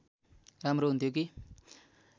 राम्रो हुन्थ्यो कि